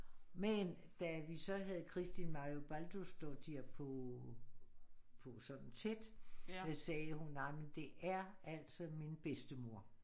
Men da vi så havde Kristín Marja Baldursdóttir på på sådan tæt sagde hun nej men det er altså min bedstemor